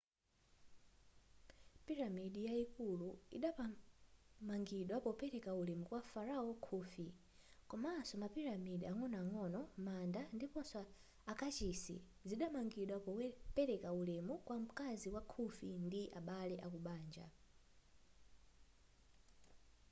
piramidi yayikulu idapamangidwa popereka ulemu kwa farao khufu komanso mapiramidi ang'onoang'ono manda ndiponso akachisi zidamangidwa popereka ulemu kwa mkazi wa khufu ndi abale akubanja